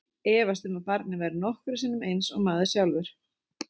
Efast um að barnið verði nokkru sinni eins og maður sjálfur.